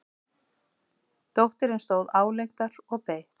Dóttirin stóð álengdar og beið.